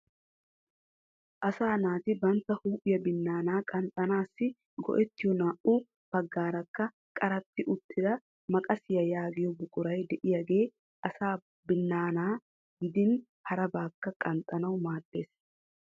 Asaa naati bantta huuphiya binnaanaa qanxxanaasi go'ettiyo naa"u baggaarakka qaratti uttida maqasiya yaagiyo buquray de'iyaagee asaa binnaanaa gidin harabaakka qanxxanawu maaddes.